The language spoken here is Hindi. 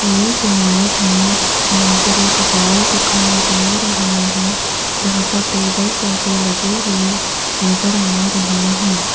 इस इमेज में यहां पर एक हाल दिखाई दे रहा है जहां पर टेबल सोफे लगे हुए नजर आ रहे हैं।